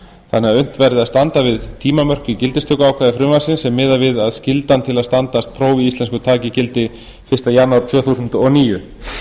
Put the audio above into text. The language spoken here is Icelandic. þannig að unnt verði að standa við tímamörk í gildistökuákvæði frumvarpsins sé miðað við að skyldan til að standast próf í íslensku taki gildi fyrsta janúar tvö þúsund og níu